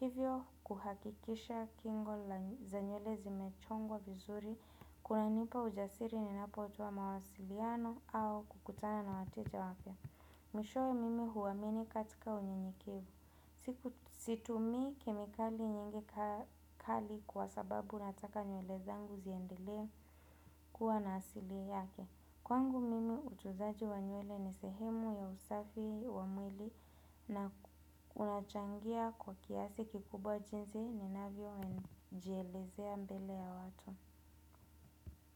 Hivyo kuhakikisha kingo za nyuele zimechongwa vizuri, kunanipa ujasiri ninapo towa mawasiliano au kukutana na wateja wapia. Mishowe mimi huwamini katika unyenyekevu. Siku situmi kemikali nyingi kali kwa sababu nataka nuyele zangu ziendelea kuwa na asili yake. Kwangu mimi utunzaji wa nyuele ni sehemu ya usafi wa mwili na unachangia kwa kiasi kikubwa jinzi ninavio jielezea mbele ya watu.